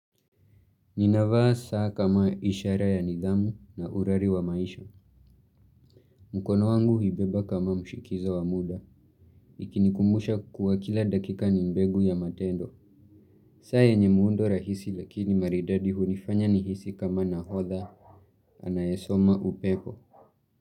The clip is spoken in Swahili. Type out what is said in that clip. Ninavaa saa kama ishara ya nidhamu na urari wa maisha. Mkono wangu huibeba kama mshikizo wa muda. Ikinikumbusha kuwa kila dakika ni mbegu ya matendo. Saa yenye muundo rahisi lakini maridadi hunifanya nihisi kama nahodha anayesoma upepo.